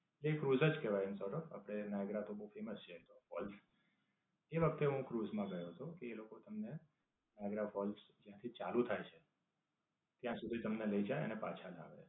એ cruise જ કહેવાય આમ તો જો. આપડે નાઇગેરા તો બવ ફેમસ છે એ તો ફોલ્સ. એ વખતે હું ક્રુઝ માં ગયો હતો. કે એ લોકો તમને નાઇગેરા ફોલ્સ જ્યાંથી ચાલુ થાય છે ત્યાં સુધી તમને લઇ જાય ને પાછા લાવે.